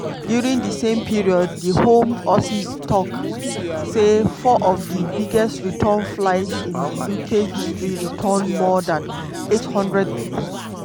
during di same period di home office tok say four of di "biggest return flights in di uk history" return more dan 800 pipo.